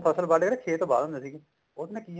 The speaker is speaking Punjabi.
ਫਸਲ ਵੱਡ ਕੇ ਨਾ ਖੇਤ ਵਾਹ ਦਿੰਦੇ ਸੀਗੇ ਉਹਦੇ ਨਾਲ